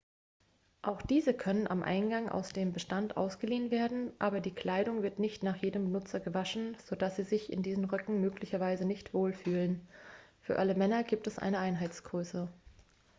auch diese können am eingang aus dem bestand ausgeliehen werden aber die kleidung wird nicht nach jedem benutzer gewaschen sodass sie sich in diesen röcken möglicherweise nicht wohlfühlen für alle männer gibt es eine einheitsgröße